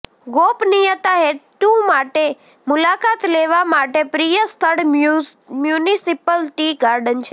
ગોપનીયતા હેતુ માટે મુલાકાત લેવા માટે પ્રિય સ્થળ મ્યુનિસિપલ ટી ગાર્ડન છે